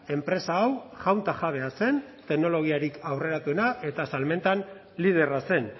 enpresa hau jaun ta jabea zen teknologiarik aurreratuena eta salmentan liderra zen